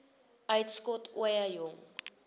uitskot ooie jong